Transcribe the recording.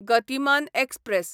Gatimaan express